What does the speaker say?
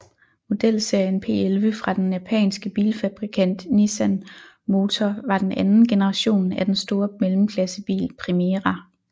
Modelserien P11 fra den japanske bilfabrikant Nissan Motor var den anden generation af den store mellemklassebil Primera